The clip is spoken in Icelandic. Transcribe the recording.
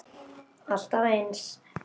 Alltaf eins.